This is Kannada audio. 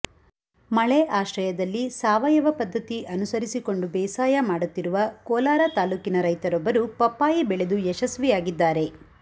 ಮಳೆ ಆಶ್ರಯದಲ್ಲಿ ಸಾವಯವ ಪದ್ಧತಿ ಅನುಸರಿಸಿಕೊಂಡು ಬೇಸಾಯ ಮಾಡುತ್ತಿರುವ ಕೋಲಾರ ತಾಲ್ಲೂಕಿನ ರೈತರೊಬ್ಬರು ಪಪ್ಪಾಯಿ ಬೆಳೆದು ಯಶಸ್ವಿಯಾಗಿದ್ದಾರೆ